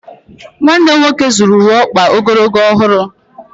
Nwanne m nwoke zụrụ uwe ọkpa ogologo ọhụrụ.